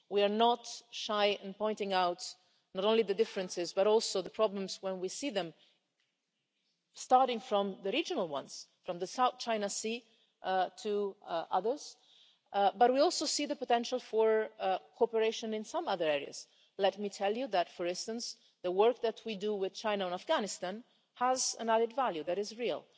We are not shy in pointing out not only the differences, but also the problems when we see them, starting with the regional ones, from the South China Sea to others, but we also see the potential for cooperation in some other areas. Let me tell you, for instance, that the work that we do with China on Afghanistan has an added value that is real.